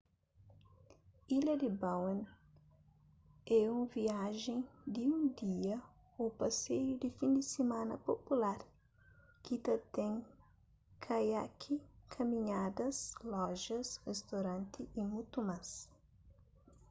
ilha di bowen é un viajen di un dia ô paseiu di fin di simana pupular ki ta ten kaiaki kaminhadas lojas ristoranti y mutu más